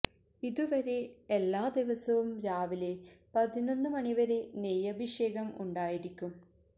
ഇതു വരെ എല്ലാ ദിവസവും രാവില പതിനൊന്ന് മണിവരെ നെയ്യഭിഷേകം ഉണ്ടായിരിക്കും